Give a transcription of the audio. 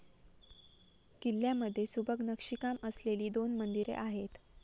किल्ल्यामधे सुबक नक्षीकाम असलेली दोन मंदिरे आहेत.